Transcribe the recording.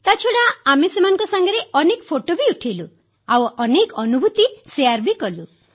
ତାଛଡ଼ା ଆମେ ସେମାନଙ୍କ ସାଙ୍ଗରେ ଅନେକ ଫଟୋ ଉଠାଇଲୁ ଆଉ ଅନେକ ଅନୁଭୂତି ବାଂଟିଲୁ